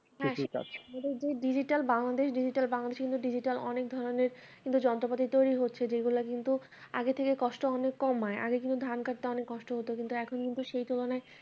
হ্যাঁ এই digital Bangladesh digital বাংলাদেশে কিন্তু digital অনেক ধরনের কিন্তু যন্ত্রপাতি তৈরি হচ্ছে যেগুলা কিন্তু আগে থেকে কষ্ট অনেক কমায় আগে কিন্তু ধান কাটতে অনেক কষ্ট হত কিন্তু এখন কিন্তু সেই তুলনায়